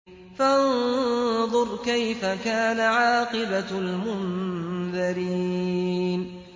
فَانظُرْ كَيْفَ كَانَ عَاقِبَةُ الْمُنذَرِينَ